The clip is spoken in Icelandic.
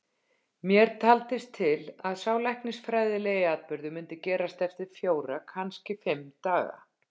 Mér taldist til að sá læknisfræðilegi atburður myndi gerast eftir fjóra, kannski fimm daga.